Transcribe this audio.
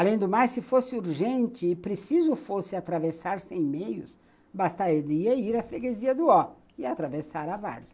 Além do mais, se fosse urgente e preciso fosse atravessar sem meios, bastaria ir à freguesia do Ó e atravessar a Várzea.